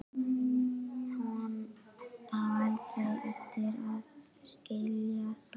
Hún á aldrei eftir að skilja það.